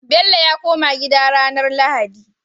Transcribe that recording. Bello ya koma gida ranar lahadi